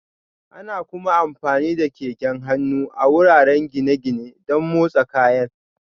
Ana kuma amfani da keken hannu a wuraren gine-gine don motsa kayan